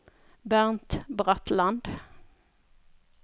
Bernt Bratland